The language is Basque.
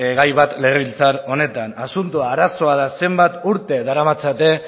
gai bat legebiltzar honetan asuntoa da arazoa da zenbat urte daramatzate